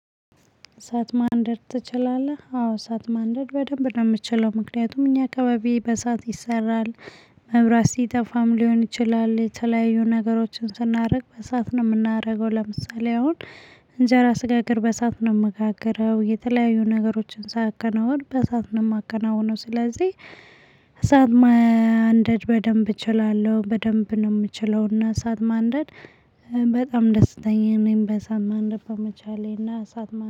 እሳት ማንደድ ትችላለህ? አዎ እሳት ማንደድ በደንብ ነው የምችለው ምክንያቱም እኛ አከበቢ በእሳት ይሰራል። መብራት ሲጠፋም ሊሆን ይችላል የተለያዩ ነገሮችን ስናደርግ በእሳት ነው የምናደርገው ለምሳሌ አሁን እንጀራ ስጋግር በእሳት ነው የምጋግረው የተለያዩ ነገሮችን ሳከናውን በእሳት ነው የማከናውነው። ስለዚህ እሳት ማንደድ በደንብ እችላለሁ። በደንብ ነው የምችለውና እሳት ማንደድ በጣም ደስተኝ ነኝ። በእሳት ማንደድ በመቻሌና እሳት